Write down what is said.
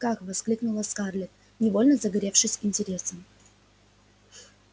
как воскликнула скарлетт невольно загоревшись интересом